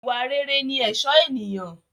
Ìwà rere ni ẹ̀sọ́ ènìyàn.